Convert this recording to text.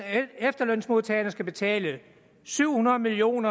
at efterlønsmodtagerne skal betale syv hundrede million